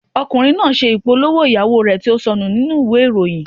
Ọkùnrin náà ṣe ìpolówó ìyàwó rẹ̀ tí ó sọnù nínú ìwé ìròyìn.